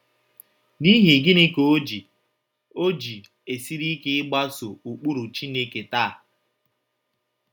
N’ihi gịnị ka o ji o ji esiri ike ịgbaso ụkpụrụ Chineke taa?